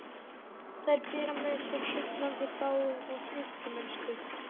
Þær bera með sér heillandi fágun og snyrtimennsku.